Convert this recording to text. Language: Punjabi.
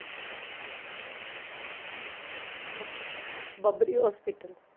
ਬਬਰੀ ਹੌਸਪੀਟਲ